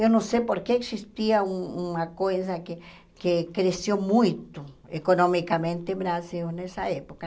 Eu não sei porque existia um uma coisa que que cresceu muito economicamente o Brasil nessa época.